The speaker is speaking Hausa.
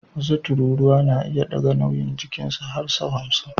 Wasu tururuwa na iya ɗaga nauyin jikinsu har sau hamsin